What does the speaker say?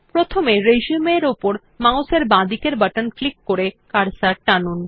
প্রথমে রিসিউম এর উপর মাউস এর বাঁদিকের বাটন ক্লিক করে কার্সর টানুন